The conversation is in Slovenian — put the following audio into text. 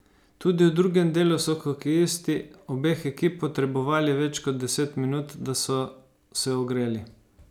Tudi v drugem delu so hokejisti obeh ekip potrebovali več kot deset minut, da so se ogreli.